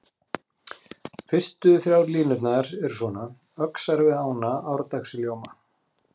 Fyrstu þrjár línurnar eru svona: Öxar við ána árdags í ljóma